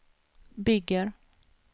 bygger